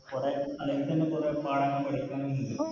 കുറെ പുറത്തുന്ന് കൊറേ കാര്യങ്ങൾ പഠിക്കുവാനുണ്ട്